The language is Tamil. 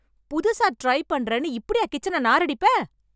புதுசா ட்ரை பண்றேன்னு இப்படியா கிச்சனை நாரடிப்ப?